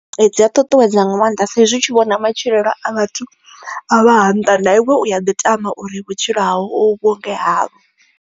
Dzi a ṱuṱuwedza nga maanḓa saizwi hu tshi vhona matshilo a vhathu a vha ha nnḓa na iwe u ya ḓi tama uri vhutshilo hau vhunge havho.